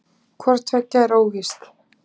Hvort tveggja er óvíst.